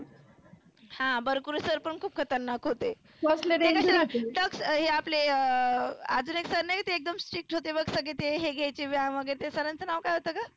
हा बर्कुले sir पण खुप खतरनाक होते. टक हे आपले अं आजुन एक sir नाहीका एकदम strict होते बघ ते सगळे ते हे घ्यायचे व्यायाम वगैरे. ते sir च नाव काय होतं ग?